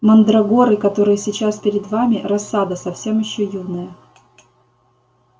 мандрагоры которые сейчас перед вами рассада совсем ещё юная